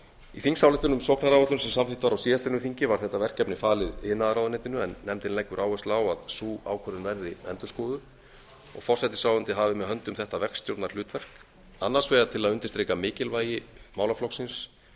í þingsályktun um sóknaráætlun sem samþykkt var á síðastliðnu þingi var þetta verkefni falið iðnaðarráðuneytinu en nefndin leggur áherslu á að sú ákvörðun verði endurskoðuð og forsætisráðuneytið hafi með höndum þetta verkstjórnarhlutverk annars vegar til að undirstrika mikilvægi málaflokksins